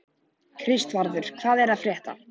Kristvarður, hvað er að frétta?